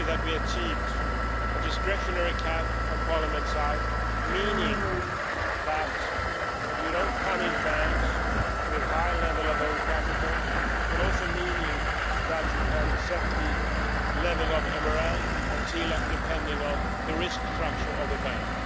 happy that we achieved a discretionary cap from Parliament's side, meaning that you don't punish banks with a high level of own capital, but also meaning that you can set the level of MREL and TLAC depending on the risk structure of the bank.